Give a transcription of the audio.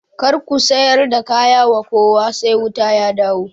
Kar ku sayar da kaya wa kowa sai wuta ya dawo